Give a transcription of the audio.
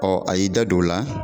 a y'i da don o la